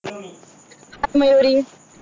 Mayuri